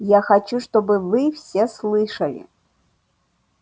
я хочу чтобы вы все слышали